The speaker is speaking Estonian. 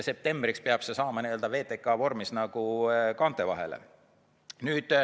Septembriks peab see saama VTK vormis kaante vahele.